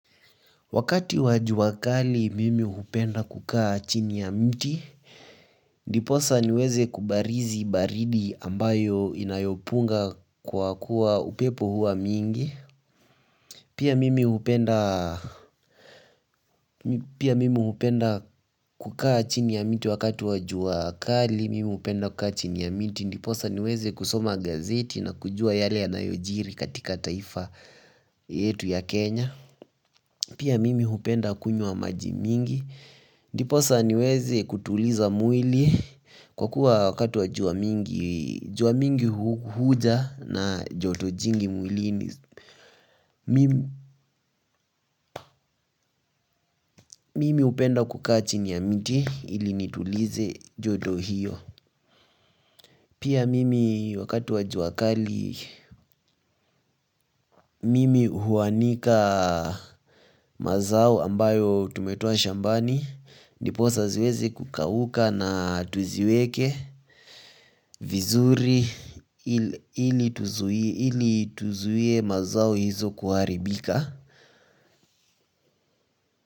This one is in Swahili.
Wakati wa jua kali mimi hupenda kukaa chini ya mti ndiposa niweze kubarizi baridi ambayo inayopunga kwa kuwa upepo hua mwingi. Pia mimi hupenda kukaa chini ya mti wakati wa jua kali, mimi hupenda kukaa chini ya miti. Ndiposa niweze kusoma gazeti na kujua yale ya nayojiri katika taifa yetu ya Kenya. Pia mimi hupenda kunywa maji mingi. Ndiposa niweze kutuliza mwili kwa kuwa wakati wa jua mingi, jua mingi huja na joto jingi mwili Mimi hupenda kukaa chini mti ili nitulize joto hio. Pia mimi wakati wa jua kali mimi huanika mazao ambayo tumetoa shambani Ndiposa ziweze kukauka na tuziweke vizuri ili tuzuie mazao hizo kuharibika.